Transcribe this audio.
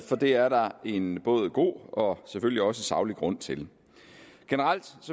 for det er der en både god og selvfølgelig også saglig grund til generelt